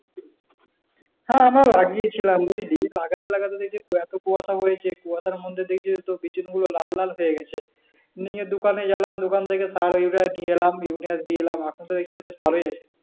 হ্যাঁ আমরাও লাগাই ছিলাম বুঝলি লাগাতে লাগাতে দেখি এতো কুয়াশা হয়েছে কুয়াশার মধ্যে দেখছি বিচি গুলো লাল লাল হয়ে গেছে নিয়ে দোকানে গেলাম দোকান থেকে সার ইউরিয়া নিয়ে এলাম ইউরিয়া দিয়ে এলাম এখন টপ দেখছি যে ভালোই আছে